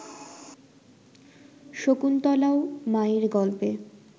শকুন্তলাও মায়ের গল্পে